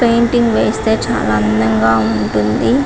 Painting వేస్తే చాలా అందంగా ఉంటుంది .